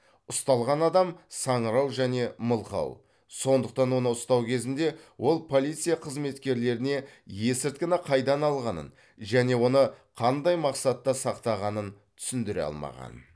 ұсталған адам саңырау және мылқау сондықтан оны ұстау кезінде ол полиция қызметкерлеріне есірткіні қайдан алғанын және оны қандай мақсатта сақтағанын түсіндіре алмаған